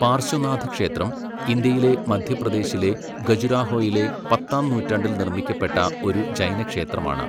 പാർശ്വനാഥക്ഷേത്രം, ഇന്ത്യയിലെ മധ്യപ്രദേശിലെ ഖജുരാഹോയിലെ പത്താംനൂറ്റാണ്ടിൽ നിർമ്മിക്കപ്പെട്ട ഒരു ജൈനക്ഷേത്രമാണ്.